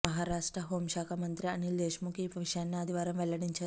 Maharashtra home శాఖ మంత్రి అనిల్ దేశ్ముఖ్ ఈ విషయాన్ని ఆదివారం వెల్లడించారు